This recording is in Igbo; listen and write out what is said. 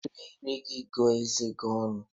Were ire gị gụọ eze gi ọnụ